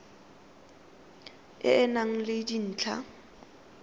e e nang le dintlha